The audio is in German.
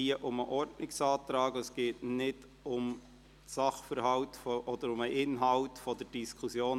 Hier geht es um den Ordnungsantrag und nicht um den Sachverhalt oder die inhaltliche Diskussion.